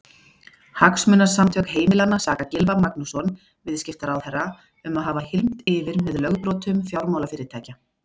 Hagsmunasamtök heimilanna saka Gylfa Magnússon, viðskiptaráðherra um að hafa hylmt yfir með lögbrotum fjármálafyrirtækja.